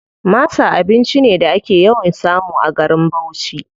Masa abinci ne da ake yawan samu a garin Bauchi.